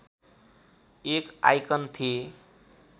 एक आइकन थिए